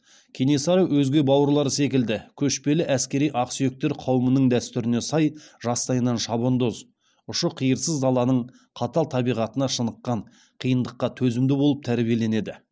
кенесары өзге бауырлары секілді көшпелі әскери ақсүйектер қауымының дәстүріне сай жастайынан шабандоз ұшы қиырсыз даланың қатал табиғатына шыныққан қиындыққа төзімді болып тәрбиеленеді